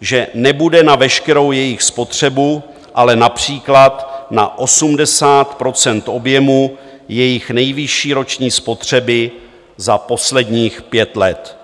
že nebude na veškerou jejich spotřebu, ale například na 80 % objemu jejich nejvyšší roční spotřeby za posledních pět let.